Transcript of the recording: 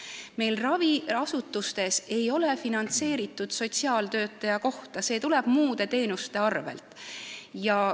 Meil ei ole raviasutustes finantseeritud sotsiaaltöötaja kohta, see tuleb muude teenuste arvel.